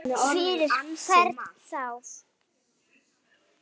Fyrir hvern þá?